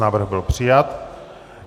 Návrh byl přijat.